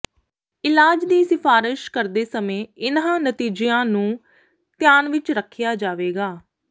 ਇਲਾਜ ਦੀ ਸਿਫਾਰਸ਼ ਕਰਦੇ ਸਮੇਂ ਇਹਨਾਂ ਨਤੀਜਿਆਂ ਨੂੰ ਧਿਆਨ ਵਿਚ ਰੱਖਿਆ ਜਾਵੇਗਾ